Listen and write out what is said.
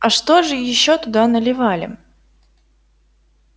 а что же ещё туда наливали